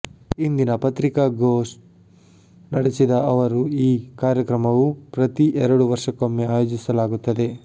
ಇಂದಿಲ್ಲಿ ಪತ್ರಿಕಾಗ್ಠೋ ನಡೆಸಿದ ಅವರು ಈ ಕಾರ್ಯಕ್ರಮವು ಪ್ರತಿ ಎರಡು ವರ್ಷಕ್ಕೊಮ್ಮೆ ಆಯೋಜಿಸಲಾಗುತ್ತದೆ